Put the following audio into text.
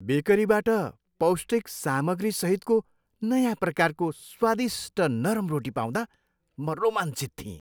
बेकरीबाट पौष्टिक सामग्रीसहितको नयाँ प्रकारको स्वादिष्ट नरम रोटी पाउँदा म रोमाञ्चित थिएँ।